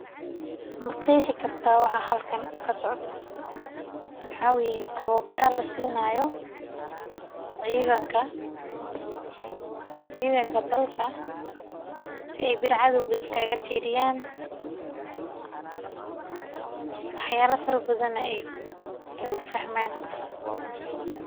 Ma qeexi kartaa waxa halkan kasocdo waxa waye tabaara lasiinayo ciidanka dalka si aay beri cadoowga iskaaga reeban wax ufahmaan.